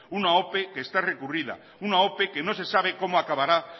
una ope que está recurrida una ope que no se sabe cómo acabará